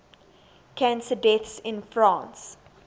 cancer deaths in france